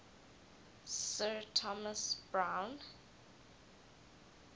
sir thomas browne